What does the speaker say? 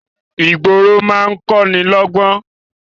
Ìgboro máa ń kọ́ni lọ́ gbọ́n